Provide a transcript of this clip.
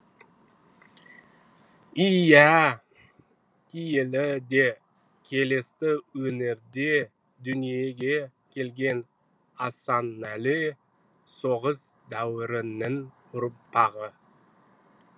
иә киелі де келісті өңірде дүниеге келген асанәлі соғыс дәуірінің ұрпағы